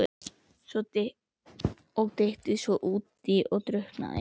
Og dytti svo útí og drukknaði!